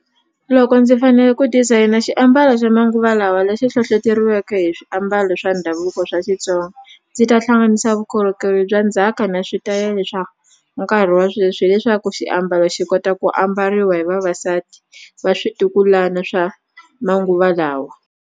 Loko ndzi fanele ku designer xiambalo xa manguva lawa lexi hlohloteriweke hi swiambalo swa ndhavuko swa Xitsonga ndzi ta hlanganisa vukorhokeri bya ndzhaka na switayele swa nkarhi wa sweswi hileswaku xiambalo xi kota ku ambariwa hi vavasati va switukulana swa manguva lawa.